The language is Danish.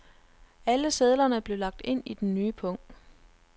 Alle sedlerne blev lagt ind i den nye pung.